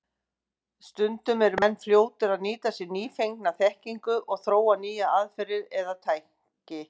Stundum eru menn fljótir að nýta sér nýfengna þekkingu og þróa nýjar aðferðir eða tæki.